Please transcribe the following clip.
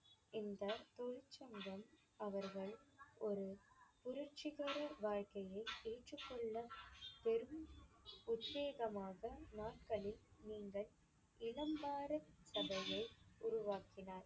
இந்தத் தொழிற்சங்கம் அவர்கள் ஒரு புரட்சிகர வாழ்க்கையை ஏற்றுக்கொள்ள பெரும் உத்வேகமாக நாட்களில் நீங்கள் கதையை உருவாக்கினார்.